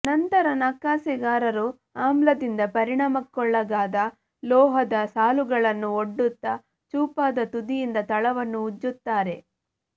ನಂತರ ನಕಾಸೆಗಾರರು ಆಮ್ಲದಿಂದ ಪರಿಣಾಮಕ್ಕೊಳಗಾದ ಲೋಹದ ಸಾಲುಗಳನ್ನು ಒಡ್ಡುತ್ತಾ ಚೂಪಾದ ತುದಿಯಿಂದ ತಳವನ್ನು ಉಜ್ಜುತ್ತಾರೆ